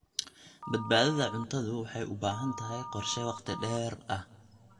Badbaadada cuntadu waxay u baahan tahay qorshe wakhti dheer ah.